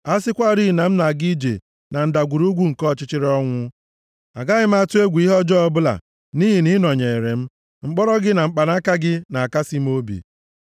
A sịkwarị na m na-aga ije, na ndagwurugwu nke ọchịchịrị ọnwụ, agaghị m atụ egwu ihe ọjọọ ọbụla; nʼihi na ị nọnyeere m, mkpọrọ gị na mkpanaka gị na-akasị m obi.